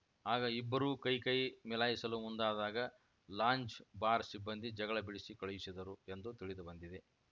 ಆಗ ಇಬ್ಬರೂ ಕೈಕೈ ಮಿಲಾಯಿಸಲು ಮುಂದಾದಾಗ ಲಾಂಜ್‌ ಬಾರ್‌ ಸಿಬ್ಬಂದಿ ಜಗಳ ಬಿಡಿಸಿ ಕಳುಹಿಸಿದರು ಎಂದು ತಿಳಿದುಬಂದಿದೆ